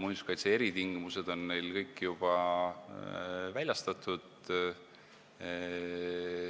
muinsuskaitse eritingimused minu teada juba väljastatud.